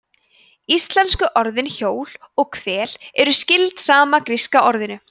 íslensku orðin hjól og hvel eru skyld sama gríska orðinu